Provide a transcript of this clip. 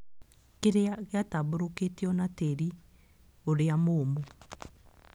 Kĩrĩa gĩatambũrũkĩtio nĩ tĩĩri ũrĩa mũũmũ